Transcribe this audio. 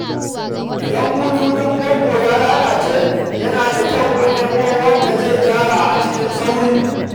Idan bututun famfo ya lalace, yana da kyau a nemo wanda zai gyara a cikin sauri.